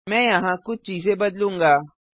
मैं यहाँ कुछ चीजें बदलूंगा